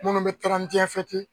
Munnu be